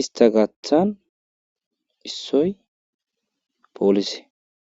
istta gaathan issoy poolise.